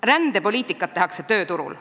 Rändepoliitikat tehakse tööturul.